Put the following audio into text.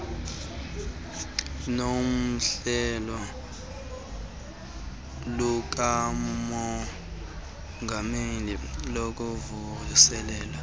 nohlelo lukamongameli lokuvuselela